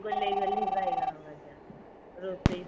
ଗୋଲେଇ ଗୋଲେଇ ବାଇଗଣ ଭଜା ରୋଷେଇ ତ